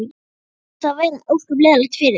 Annars hlýtur það að vera ósköp leiðinlegt fyrir þig.